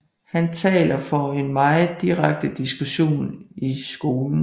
Han taler for en meget direkte diskussion i skolen